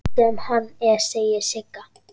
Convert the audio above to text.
Sem hann er, segir Sigga.